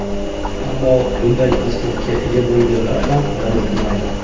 Ammo, bunday pasportga ega bo‘lganlar ham rad etilmaydi.